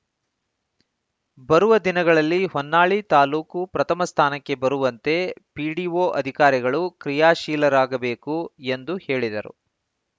ಬರುವ ದಿನಗಳಲ್ಲಿ ಹೊನ್ನಾಳಿ ತಾಲೂಕು ಪ್ರಥಮ ಸ್ಥಾನಕ್ಕೆ ಬರುವಂತೆ ಪಿಡಿಒ ಅಧಿಕಾರಿಗಳು ಕ್ರಿಯಾಶೀಲರಾಗಬೇಕು ಎಂದು ಹೇಳಿದರು